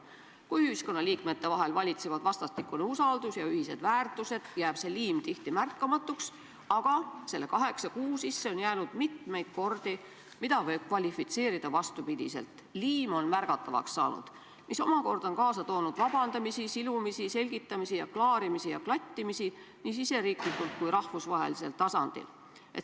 Kui ühiskonnaliikmete vahel valitsevad vastastikune usaldus ja ühised väärtused, jääb see liim tihti märkamatuks, aga selle kaheksa kuu sisse on jäänud mitmeid kordi, mida võib kvalifitseerida vastupidi: liim on märgatavaks saanud, mis omakorda on kaasa toonud vabandamisi, silumisi, selgitamisi, klaarimisi ja klattimisi nii riigi sees kui ka rahvusvahelisel tasandil.